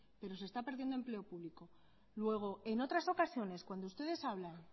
pero se está perdiendo empleo público luego en otras ocasiones cuando ustedes hablan